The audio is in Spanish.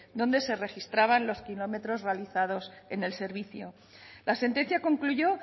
donde se registraban los kilómetros realizados en el servicio la sentencia concluyó